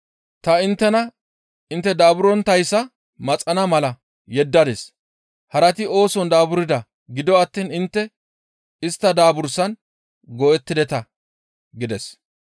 Ta inttena intte daaburonttayssa maxana mala yeddadis; harati ooson daaburda; gido attiin intte istta daabursan go7ettideta» gides.